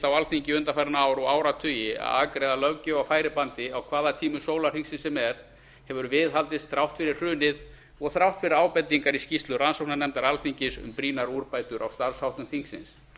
á alþingi undanfarin ár og áratugi að afgreiða löggjöf á færibandi á hvaða tímum sólarhringsins sem er hefur viðhaldist þrátt fyrir hrunið og þrátt fyrir ábendingar í skýrslu rannsóknarnefndar alþingis um brýnar úrbætur á starfsháttum þingsins